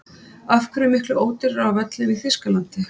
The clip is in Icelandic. Af hverju er miklu ódýrara á völlinn í Þýskalandi?